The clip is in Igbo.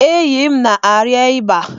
Enyi m na-arịa ịba.